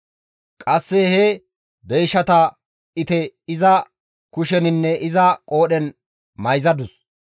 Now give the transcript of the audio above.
Qasse he deyshata ite iza kusheninne iza qoodhen mayzadus.